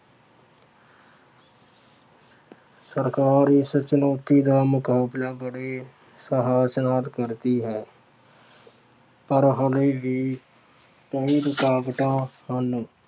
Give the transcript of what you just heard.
ਸਰਕਾਰ ਇਸ ਚੁਣੌਤੀ ਦਾ ਮੁਕਾਬਲਾ ਬੜੇ ਸਾਹਸ ਨਾਲ ਕਰਦੀ ਹੈ। ਪਰ ਹਾਲੇ ਵੀ ਕਈ ਰੁਕਾਵਟਾਂ ਹਨ।